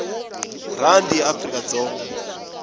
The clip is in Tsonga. rhandi ya afrikadzonga